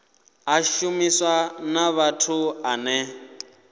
a shuma na muthu ane